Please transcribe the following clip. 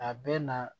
A bɛ na